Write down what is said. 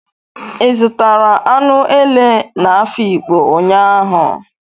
Ị zụtara anụ ele n'Afikpo ụnyaahụ?